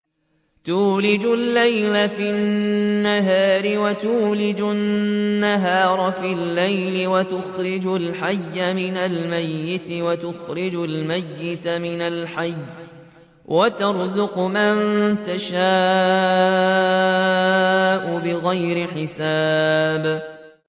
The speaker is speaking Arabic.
تُولِجُ اللَّيْلَ فِي النَّهَارِ وَتُولِجُ النَّهَارَ فِي اللَّيْلِ ۖ وَتُخْرِجُ الْحَيَّ مِنَ الْمَيِّتِ وَتُخْرِجُ الْمَيِّتَ مِنَ الْحَيِّ ۖ وَتَرْزُقُ مَن تَشَاءُ بِغَيْرِ حِسَابٍ